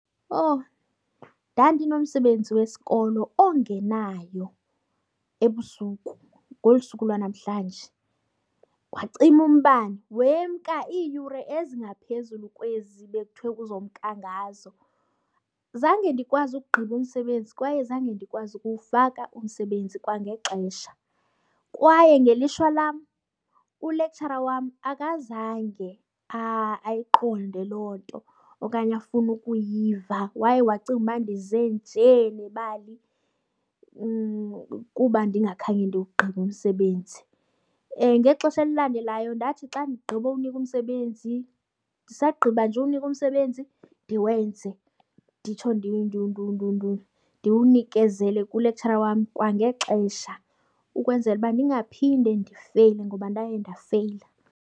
Owu, ndandinomsebenzi wesikolo ongenayo ebusuku ngolu suku lwanamhlanje. Wacima umbane wemka iiyure ezingaphezulu kwezi bekuthwe uzomka ngazo. Zange ndikwazi ukugqiba umsebenzi kwaye zange ndikwazi ukuwufaka umsebenzi kwangexesha kwaye ngelishwa lam ulektshara wam akazange ayiqonde loo nto okanye afune ukuyiva, waye wacinga ukuba ndize nje nebali kuba ndingakhange ndiwugqibe umsebenzi. Ngexesha elilandelayo ndathi xa ndigqibowunikwa umsebenzi, ndisagqiba nje uwunikwa umsebenzi ndiwenze nditsho ndiwunikezele kulektshara wam kwangexesha ukwenzela uba ndingaphinde ndifeyile ngoba ndaye ndafeyila.